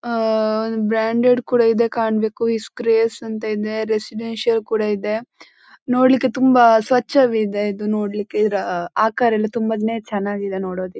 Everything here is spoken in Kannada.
ಹ್ಮ್ಮ್ಮ್ ಬ್ರಾಡೆಂಡ್ ಕೂಡಾಯಿದೆ ಕಾಣ್ಬೆಕು ರೆಸಿಡೆನ್ಸಿಯಲ್ ಕೂಡ ಇದೆ ನೋಡ್ಲಿಕೆ ತುಂಬಾ ಸ್ವಚ್ಛವಿದೆ ಇದು ನೋಡ್ಲಿಕೆ ಆ ಆಕಾರಯಲ್ಲ ತುಂಬಾನೇ ಚೆನ್ನಾಗಿ ಇದೆ ನೋಡಿಕ್ಕೆ.